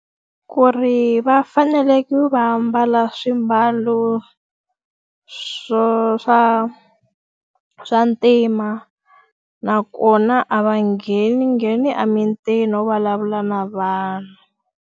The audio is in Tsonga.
Ku ri va faneleke ku va mbala swimbalo swo swa swa ntima. Nakona a va ngheningheni emitini no vulavula na vanhu.